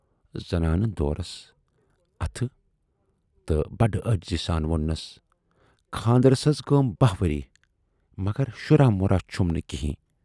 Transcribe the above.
زنانہٕ دورُس اَتھٕ تہٕ بَڈٕ عٲجزی سان ووننَس خاندرس حض گٔیَم باہ ؤری، مگر شُراہ مُراہ چھُم نہٕ کِہِنۍ